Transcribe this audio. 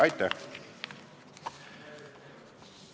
Aitäh!